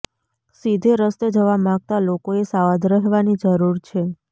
સીધે રસ્તે જવા માગતા લોકોએ સાવધ રહેવાની જરૂર છે